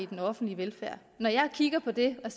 den offentlige velfærd når jeg kigger på det og